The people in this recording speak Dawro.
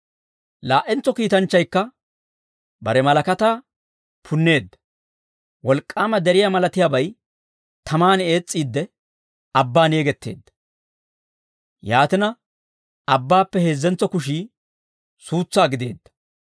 Laa"entso kiitanchchaykka bare malakataa punneedda. Wolk'k'aama deriyaa malatiyaabay taman ees's'iidde, abbaan yegetteedda; yaatina, abbaappe heezzentso kushii suutsaa gideedda.